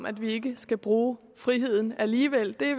at vi ikke skal bruge friheden alligevel det